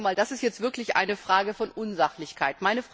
Aber das ist jetzt wirklich eine Frage von Unsachlichkeit.